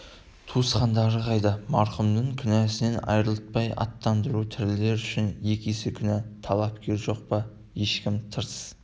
туысқандары қайда марқұмды күнәсінен арылтпай аттандыру тірілер үшін екі есе күнә талапкер жоқ па ешкім тырс